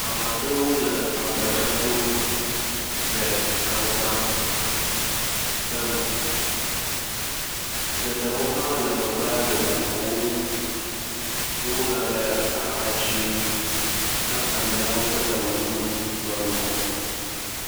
Ame aɖewo leagbdza ɖum le aza me, geɖewo hã le megbea le ŋu ƒom ye wogale aha dzim na ameawo ke wɔe ɖum le ŋgɔ.